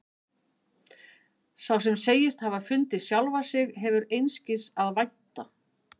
Sá sem segist hafa fundið sjálfan sig hefur einskis að vænta.